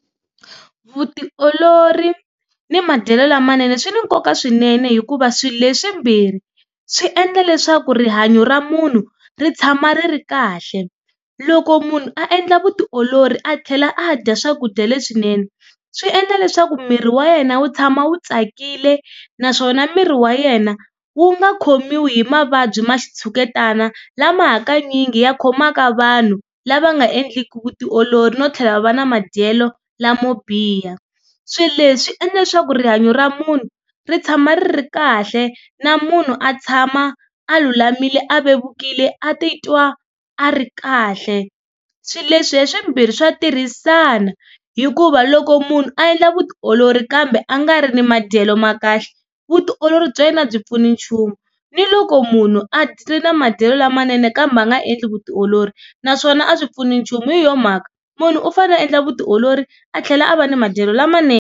Vutiolori ni madyelo lamanene swi na nkoka swinene, hikuva swi leswimbirhi swi endla leswaku rihanyo ra munhu ri tshama ri ri kahle. Loko munhu a endla vutiolori a tlhela a dya swakudya leswinene, swi endla leswaku miri wa yena wu tshama wu tsakile. Naswona miri wa yena wu nga khomiwi hi mavabyi ma xitshuketana lama hakanyingi ya khomaka vanhu lava nga endliki vutiolori, no tlhela va va na madyelo lamo biha. Swileswi swi endla leswaku rihanyo ra munhu ri tshama ri ri kahle na munhu a tshama a lulamile, a vevukile a titwa a ri kahle. Swileswi hi swimbirhi swa tirhisana, hikuva loko munhu a endla vutiolori kambe a nga ri ni madyelo ma kahle vutiolori bya yena a byi pfuni nchumu. Ni loko munhu a ri na madyelo lamanene kambe a nga endli vutiolori naswona a swi pfuni nchumu, hi yona mhaka munhu u fane a endla vutiolori a tlhela a va ni madyelo lamanene.